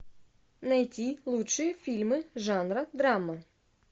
найти лучшие фильмы жанра драма